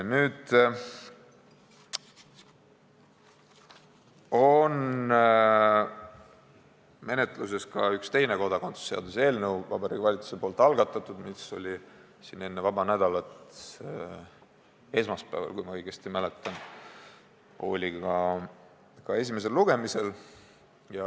Praegu on menetluses ka üks teine kodakondsuse seaduse eelnõu, Vabariigi Valitsuse algatatud, mis oli enne vaba nädalat esmaspäeval – kui ma õigesti mäletan – siin ka esimesel lugemisel.